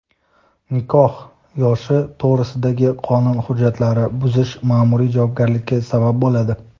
Nikoh yoshi to‘g‘risidagi qonun hujjatlarini buzish maʼmuriy javobgarlikka sabab bo‘ladi.